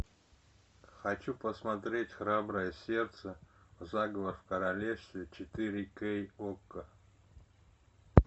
хочу посмотреть храброе сердце заговор в королевстве четыре кей окко